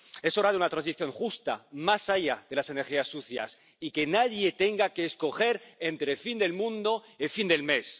Es hora de una transición justa más allá de las energías sucias, y de que nadie tenga que escoger entre fin del mundo o fin del mes.